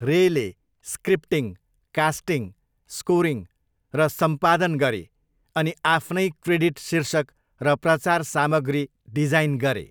रेले scripting, casting, scoring र सम्पादन गरे अनि आफ्नै क्रेडिट शीर्षक र प्रचार सामग्री डिजाइन गरे।